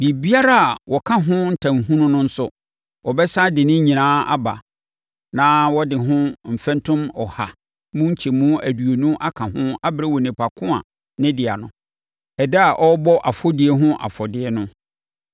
Biribiara a waka ho ntanhunu no nso, ɔbɛsane de ne nyinaa aba na ɔde ho mfɛntom ɔha mu nkyɛmu aduonu aka ho abrɛ onipa ko a ne dea no, ɛda a ɔrebɔ afɔdie ho afɔdeɛ no.